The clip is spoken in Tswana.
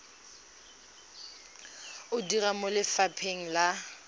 o dira mo lefapheng la